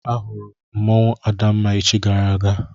Ahụrụ m mmanwụ Adamma echi gara aga.